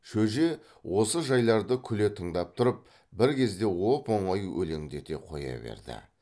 шөже осы жайларды күле тыңдап тұрып бір кезде оп оңай өлеңдете қоя берді